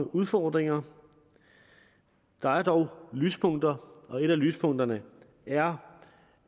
udfordringer der er dog lyspunkter og et af lyspunkterne er